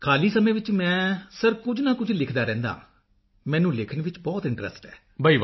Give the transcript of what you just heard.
ਖਾਲੀ ਸਮੇਂ ਵਿੱਚ ਮੈਂ ਸਰ ਕੁਝ ਨਾ ਕੁਝ ਲਿਖਦਾ ਰਹਿੰਦਾ ਹਾਂ ਮੈਂ ਮੈਨੂੰ ਲਿਖਣ ਵਿੱਚ ਬਹੁਤ ਇੰਟਰੈਸਟ ਹੈ